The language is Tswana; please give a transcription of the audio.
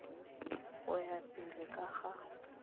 go ya pele ka ga